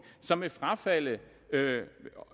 som vil frafalde